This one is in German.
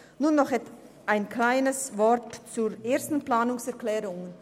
Nun noch ein paar Worte zur ersten Planungserklärung.